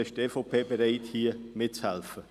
Dann ist die EVP bereit, hier mitzuhelfen.